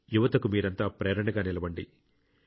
యువతకు మీరంతా ప్రేరణగా నిలవండి